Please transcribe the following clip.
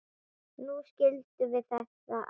Nú skildum við þetta allt.